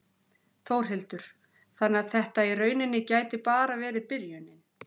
Þórhildur: Þannig að þetta í rauninni gæti bara verið byrjunin?